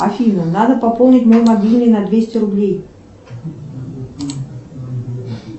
афина надо пополнить мой мобильный на двести рублей